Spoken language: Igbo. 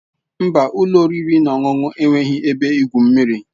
Mba, ụlọ oriri na ọṅụṅụ enweghị ebe igwu mmiri.